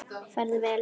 Farðu vel, vinur.